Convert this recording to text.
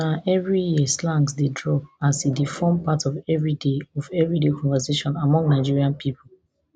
na evri year slangs dey drop as e dey form part of everyday of everyday conversation among nigerian pipo